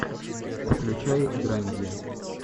включай драмеди